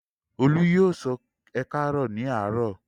Olú yóò sọ "ẹ káàárọ̀" ní àárọ̀?